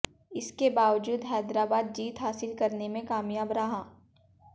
इसके बावजूद हैदराबाद जीत हासिल करने में कामयाब रही